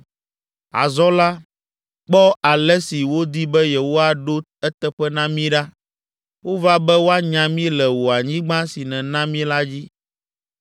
Azɔ la, kpɔ ale si wodi be yewoaɖo eteƒe na mí ɖa! Wova be woanya mí le wò anyigba si nèna mí la dzi.